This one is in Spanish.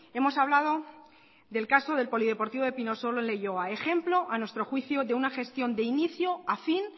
hemos hablado del caso del polideportivo de pinosolo en leioa ejemplo a nuestro juicio de una gestión de inicio a fin